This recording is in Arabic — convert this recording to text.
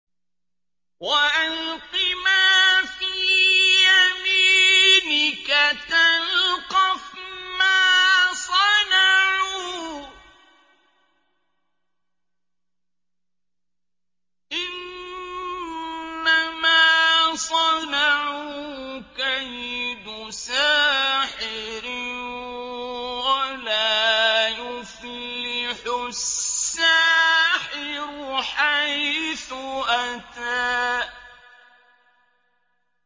وَأَلْقِ مَا فِي يَمِينِكَ تَلْقَفْ مَا صَنَعُوا ۖ إِنَّمَا صَنَعُوا كَيْدُ سَاحِرٍ ۖ وَلَا يُفْلِحُ السَّاحِرُ حَيْثُ أَتَىٰ